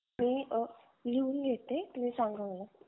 मी अ लिहून घेते तुम्ही सांगा मला